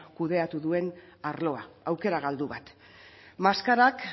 kudeatu duen arloa aukera galdu bat maskarak